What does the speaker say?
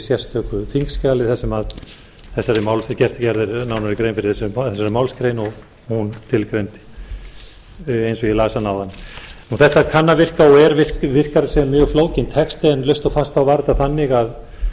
sérstöku þingskjali þar sem gerð er nánari grein fyrir þessari málsgrein og hún tilgreind eins og ég las hana áðan þetta kann að virka og virkar sem mjög flókinn texti en laust og fast var þetta þannig